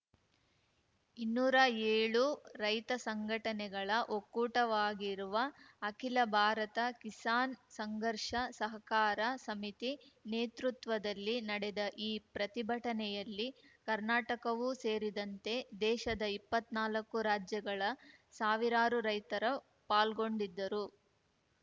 ಇನ್ನೂರಾ ಏಳು ರೈತ ಸಂಘಟನೆಗಳ ಒಕ್ಕೂಟವಾಗಿರುವ ಅಖಿಲ ಭಾರತ ಕಿಸಾನ್‌ ಸಂಘರ್ಷ ಸಹಕಾರ ಸಮಿತಿ ನೇತೃತ್ವದಲ್ಲಿ ನಡೆದ ಈ ಪ್ರತಿಭಟನೆಯಲ್ಲಿ ಕರ್ನಾಟಕವೂ ಸೇರಿದಂತೆ ದೇಶದ ಇಪ್ಪತ್ನಾಲ್ಕು ರಾಜ್ಯಗಳ ಸಾವಿರಾರು ರೈತರು ಪಾಲ್ಗೊಂಡಿದ್ದರು